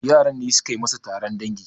yaran ne suka yi masa Taron dango